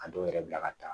A dɔw yɛrɛ bila ka taa